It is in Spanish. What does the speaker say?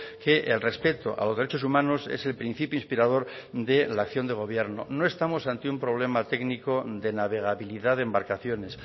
que el respeto a los derechos humanos es el principio inspirador de la acción de gobierno no estamos ante un problema técnico de navegabilidad de embarcaciones